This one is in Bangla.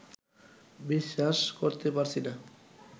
বিশ্বাস করতে পারছি না